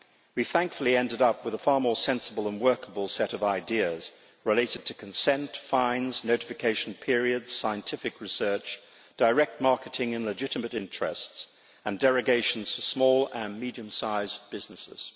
We thankfully ended up with a far more sensible and workable set of ideas, related to consent, fines, notification periods, scientific research, direct marketing in legitimate interests, and derogations for small and medium sized businesses.